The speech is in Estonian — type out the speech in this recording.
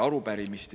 Arupärimiste …